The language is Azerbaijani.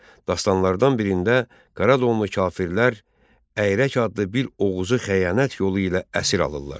Dastanlardan birində Qaradonlu kafirlər Əyirək adlı bir oğuzu xəyanət yolu ilə əsir alırlar.